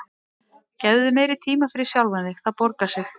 Gefðu þér meiri tíma fyrir sjálfan þig, það borgar sig.